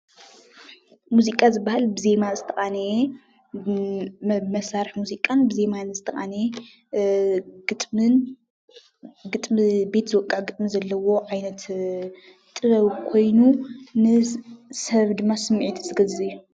መዚቃ ዝበሃል ብዜማ ዝተቃነየ ብመሳርሒ ሙዚቃን ብዜማን ዝተቃነየ ግጥምን ቤት ዝወቅዕ ግጥሚ ዘለዎ ዓይነት ጥበብ ኮይኑ ንሰብ ድማ ስምዒቱ ዝገዝእ እዩ።